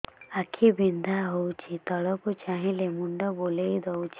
ଆଖି ବିନ୍ଧା ହଉଚି ତଳକୁ ଚାହିଁଲେ ମୁଣ୍ଡ ବୁଲେଇ ଦଉଛି